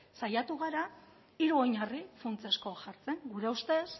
saiatua gara hiru oinarri funtsezko jartzen gure ustez